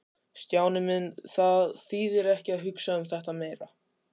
Stjáni minn, það þýðir ekki að hugsa um þetta meira.